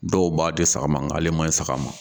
Dɔw b'a di saga ma, ng'ale ma ɲi saga ma